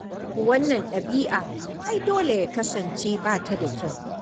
To wannan ɗabi'a ai dole ya kasance ba ta da kyau.